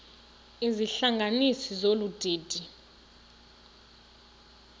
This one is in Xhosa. izihlanganisi zolu didi